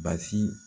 Basi